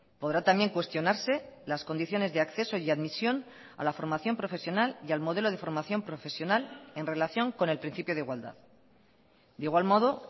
podrá también cuestionarse las condiciones de acceso y admisión a la formación profesional y al modelo de formación profesional en relación con el principio de igualdad de igual modo